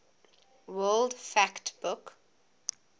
world fact book